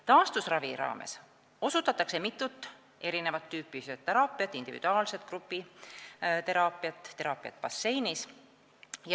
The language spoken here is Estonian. Taastusravi raames osutatakse mitut tüüpi füsioteraapiateenust, tehakse individuaalset ja grupiteraapiat ning teraapiat basseinis.